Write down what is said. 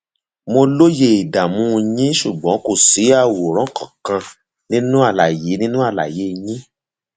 mo lóye ìdààmú yín ṣùgbọn kò sí àwòrán kankan nínú àlàyé nínú àlàyé yín